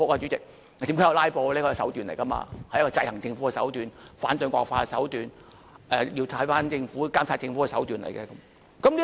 怎樣看"拉布"，這是手段來的，是一個制衡政府的手段，反對惡法的手段，監察政府的手段來的。